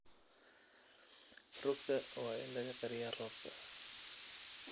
Rugta waa in laga qariyaa roobka.